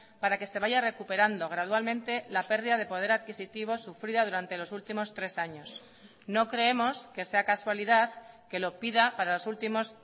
para que se vaya recuperando gradualmente la pérdida de poder adquisitivo sufrida durante los últimos tres años no creemos que sea casualidad que lo pida para los últimos